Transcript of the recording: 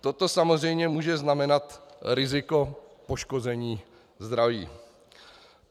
Toto samozřejmě může znamenat riziko poškození zdraví.